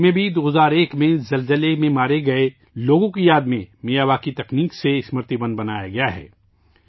کچھ میں بھی 2001 کے زلزلے میں مارے گئے لوگوں کی یاد میں میاواکی طرز کا میں ایک یادگاری جنگل بنایا گیا ہے